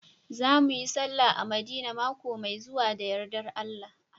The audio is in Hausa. Za mu yi sallah a madina maƙo mai zuwa da yarɗar Allah